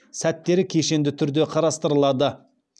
сәттері кешенді түрде қарастырылады